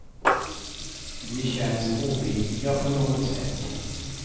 De känns oviktiga på något sätt.